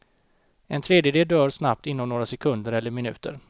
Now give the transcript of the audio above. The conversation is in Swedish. En tredjedel dör snabbt inom några sekunder eller minuter.